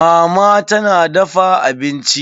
Mama tana dafa abincin.